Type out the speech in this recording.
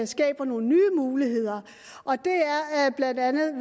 skaber nogle nye muligheder og det er blandt andet